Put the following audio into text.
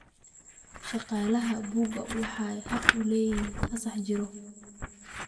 Shaqaalaha buka waxay xaq u leeyihiin fasax jirro.